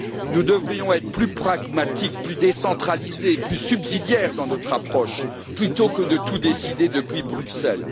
Nous devrions être plus pragmatiques, plus décentralisés et plus subsidiaires dans notre approche, plutôt que de tout décider depuis Bruxelles.